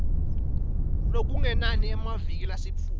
lokungenani emaviki lasitfupha